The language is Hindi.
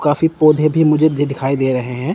काफी पौधे भी मुझे दी दिखाई दे रहे हैं।